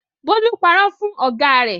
Bólú parọ́ fún ọ̀gá rẹ̀.